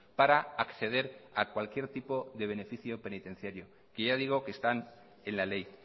para acceder a cualquier tipo de beneficio penitenciario que ya digo que están en la ley